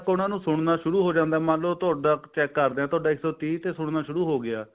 ਉਹਨਾ ਨੂੰ ਸੁਣਨਾ ਸ਼ੁਰੂ ਹੋ ਜਾਂਦਾ ਮੰਨਲੋ ਤੁਹਾਡਾ check ਕਰਦੇ ਤੁਹਾਡਾ ਇੱਕ ਸੋ ਤੀਹ ਤੇ ਸੁਣਨਾ ਸ਼ੁਰੂ ਹੋ ਹੋਗਿਆ